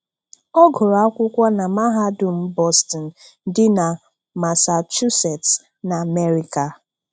Ọ gụrụ ákwụkwọ nà Mahadum Boston dị nà Massachusetts, n’Amerịka